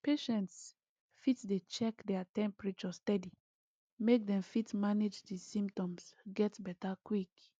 patients fit dey check their temperature steady make dem fit manage di symptoms get beta quick